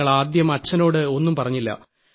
ഞങ്ങൾ ആദ്യം അച്ഛനോട് ഒന്നും പറഞ്ഞില്ല